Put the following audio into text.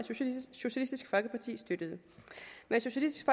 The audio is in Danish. socialistisk folkeparti støttede men socialistisk